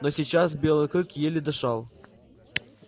но сейчас белый клык еле дышал